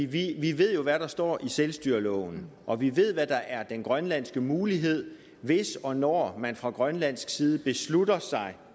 vi ved jo hvad der står i selvstyreloven og vi ved hvad der er den grønlandske mulighed hvis og når man fra grønlands side beslutter sig